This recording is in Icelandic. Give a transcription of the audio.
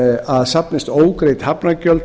að fyrir safnist ógreidd hafnargjöld